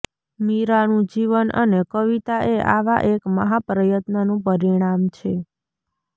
મીરાંનું જીવન અને કવિતા એ આવા એક મહાપ્રયત્નનું પરિણામ છે